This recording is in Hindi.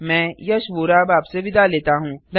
मैं यश वोरा अब आपसे विदा लेता हूँ